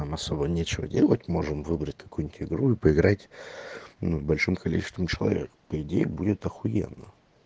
там особо нечего делать можем выбрать какую-нибудь игру и поиграть ну в большом количестве человек по идее будет ахуенно